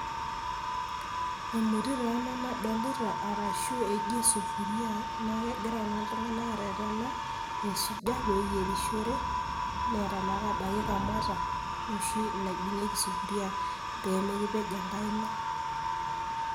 emoti taa ena nadolita arashu eji sufuria naa kegira naa oltungani arerena aisuja peyierishore, neeta naa baiki kamata noshi naibungieki sufuria pemikipej enkaina.